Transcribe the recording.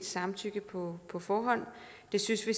samtykke på på forhånd og det synes vi